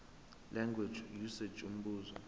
language usage umbuzo